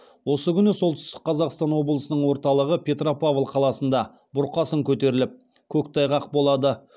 осы күні солтүстік қазақстан облысының орталығы петропавл қаласында бұрқасын көтеріліп көктайғақ болады